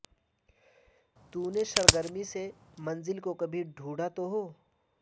تو نے سرگرمی سے منزل کو کبھی ڈھونڈا تو ہو